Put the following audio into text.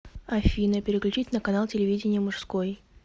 афина переключить на канал телевидения мужской